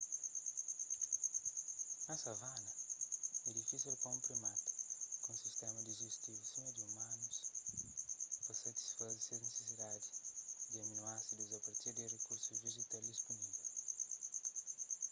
na savana é difísil pa un primata ku un sistéma dijistivu sima di umanus pa satisfaze se nisisidadis di aminoásidus a partir di rikursus vejetal dispunível